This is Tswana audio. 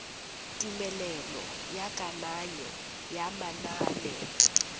tumelelo ya kananyo ya manane